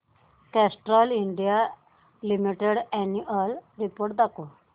Castrol India limited annual report दाखव